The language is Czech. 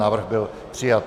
Návrh byl přijat.